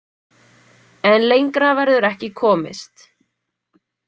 En lengra verður ekki komist.